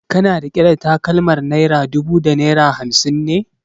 Kana riƙe da takalmar naira dubu da naira hamsin ne?